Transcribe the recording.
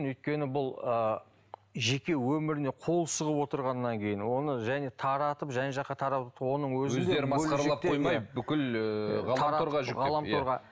өйткені бұл ыыы жеке өміріне қол сұғып отырғаннан кейін оны және таратып жан жаққа тарату оның өздерін масқаралап қоймай бүкіл ыыы ғаламторға жүктепті